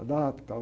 A data e tal.